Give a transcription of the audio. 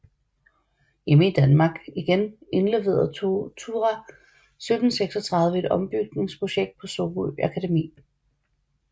Hjemme i Danmark igen indleverede Thurah 1736 et ombygningsprojekt på Sorø Akademi